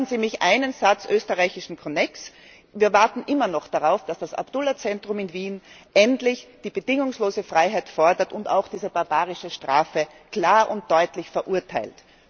Lassen Sie mich einen Satz mit österreichischem Konnex sagen Wir warten immer noch darauf, dass das Abdullah Zentrum in Wien endlich die bedingungslose Freilassung fordert und diese barbarische Strafe ebenfalls klar und deutlich verurteilt.